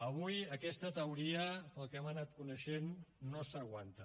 avui aquesta teoria pel que hem anat coneixent no s’aguanta